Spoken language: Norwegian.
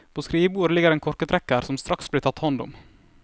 På skrivebordet ligger en korketrekker som straks blir tatt hånd om.